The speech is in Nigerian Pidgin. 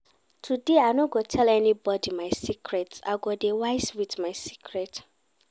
Today, I no go tell anybodi my secrets, I go dey wise wit my secrets.